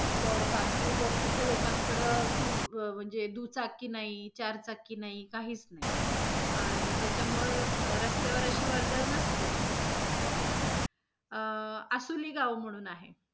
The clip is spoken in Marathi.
पण बाकी मग तिथ लोकांकडे two म्हणजे दुचाकी नाही, चार चाकी नाही, काहीच नाही आणि त्याच्यामुळे रस्त्यावर अशी वर्दळ नसतेच. अं आसुली गाव म्हणून आहे.